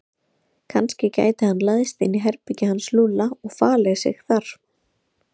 Kannski gæti hann læðst inn í herbergið hans Lúlla og falið sig þar.